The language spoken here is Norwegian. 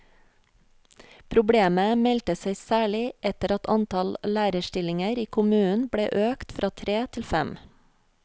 Problemet meldte seg særlig etter at antall lærerstillinger i kommunen ble økt fra tre til fem.